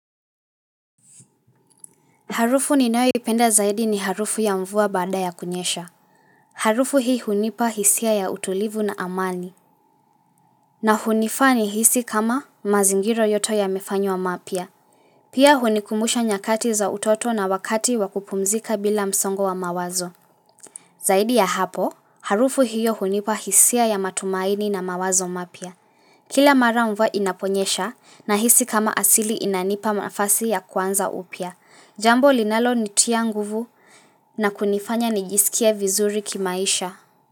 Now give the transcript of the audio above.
Harufu ninayoipenda zaidi ni harufu ya mvua baada ya kunyesha. Harufu hii hunipa hisia ya utulivu na amani. Na hunifaa nihisi kama mazingira yote yamefanywa mapya. Pia hunikumusha nyakati za utoto na wakati wa kupumzika bila msongo wa mawazo. Zaidi ya hapo, harufu hiyo hunipa hisia ya matumaini na mawazo mapya. Kila mara mvua inaponyesha nahisi kama asili inanipa nafasi ya kuanza upya. Jambo linalonitia nguvu na kunifanya nijisikie vizuri kimaisha.